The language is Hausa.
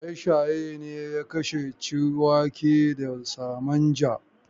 Shaye-shaye ne ya kashe Ciwake da Samanja.